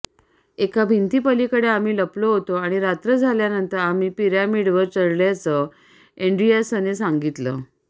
एका भिंतीपलिकडे आम्ही लपलो होतो आणि रात्र झाल्यानंतर आम्ही पिरॅमिडवर चढल्याचं एंड्रियासने सांगितलं